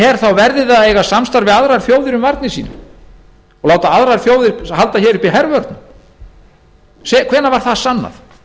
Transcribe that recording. her verði það að eiga samstarf við aðrar þjóðir um varnir sínar og láta aðrar þjóðir halda hér uppi hervörnum hvenær var það sannað